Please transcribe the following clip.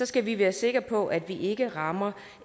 skal vi være sikre på at vi ikke rammer